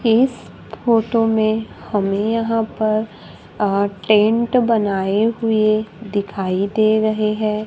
इस फोटो में हमें यहां पर अ टेंट बनाए हुए दिखाई दे रहे हैं।